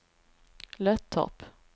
Löttorp